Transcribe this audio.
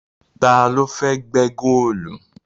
Ta ló fẹ́ lọ gbẹ́ góòlù?